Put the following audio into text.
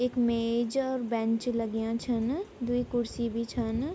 इख मेज और बेंच लग्याँ छिन द्वि कुर्सी भी छन।